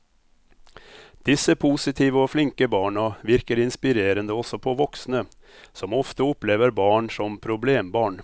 Disse positive og flinke barna virker inspirerende også på voksne, som ofte opplever barn som problembarn.